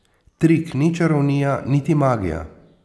Trik ni čarovnija niti magija.